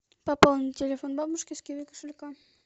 пополнить телефон бабушки с киви кошелька